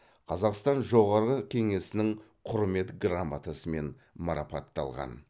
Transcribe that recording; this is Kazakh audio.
қазақстан жоғарғы кеңесінің құрмет грамотасымен марапатталған